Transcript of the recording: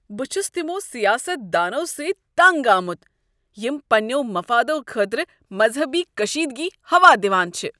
بہٕ چھُس تِمو سیاست دانو سۭتۍ تنگ آمت یِم پنٛنیو مفادَو خٲطرٕ مذہبی کشیدگی ہوا دِوان چھ۔